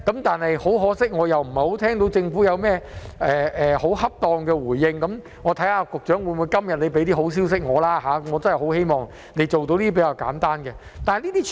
但很可惜，我聽不到政府有適當的回應，看看局長今天會否帶些好消息給我吧，我真的希望他能夠做到這些比較簡單的事情。